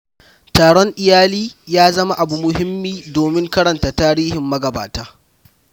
Taron iyali ya zama abu muhummi don karanta tarihin magabata.